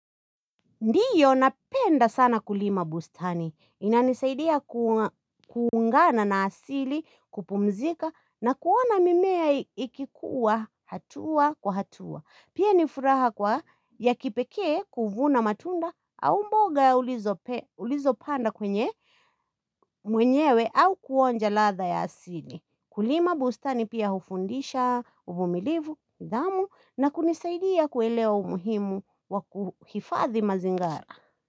Ndiyo napenda sana kulima bustani. Inanisaidia kuungana na asili kupumzika na kuona mimea ikikuwa hatua kwa hatua. Pia nifuraha kwa ya kipekee kuvuna matunda au mboga ulizo panda kwenye mwenyewe au kuonja latha ya asili. Kulima bustani pia hufundisha, uvumilivu, nidhamu na kunisaidia kuelewa umuhimu wa kuhifadhi mazingara.